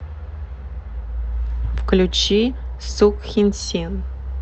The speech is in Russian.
включи сукхинсин